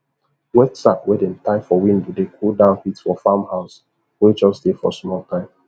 wet sack wey dem tie for window dey cool down heat for farm house wey jus dey for small time